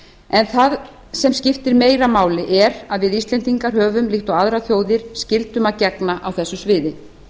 en það sem skiptir meira máli er að við íslendingar höfum líkt og aðrar þjóðir skyldum að gegna á þessu sviði